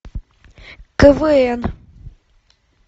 квн